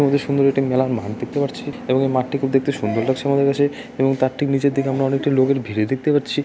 অনেক সুন্দর একটি মেলার মাঠ দেখতে পারছি এবং মাঠটি দেখতে খুব সুন্দর লাগছে আমাদের কাছে এবং তার ঠিক নিচের দিকে আমরা অনেকটা লোকের ভিড়ে দেখতে পাচ্ছি।